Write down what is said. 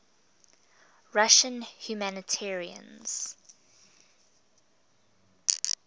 russian humanitarians